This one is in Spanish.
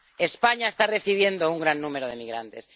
España está recibiendo un gran número de migrantes.